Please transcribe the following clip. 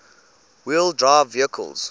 wheel drive vehicles